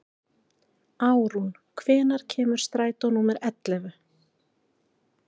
Árún, hvenær kemur strætó númer ellefu?